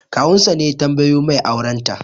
Kawun sa ne ya tambayo mai auren ta